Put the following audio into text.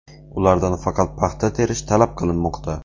Ulardan faqat paxta terish talab qilinmoqda.